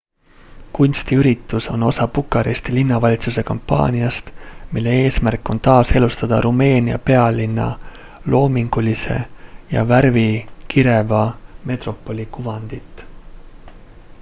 kunstiüritus on osa bukaresti linnavalitsuse kampaaniast mille eesmärk on taaselustada rumeenia pealinna loomingulise ja värvikireva metropoli kuvandit